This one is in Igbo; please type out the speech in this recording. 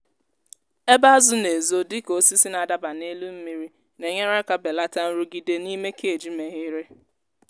ebe azụ na-ezo dịka osisi na-adaba n’elu mmiri na-enyere aka belata nrụgide n'ime cage meghere.